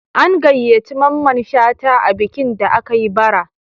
An gayyaci Mamman Shata a bikin da aka yi bara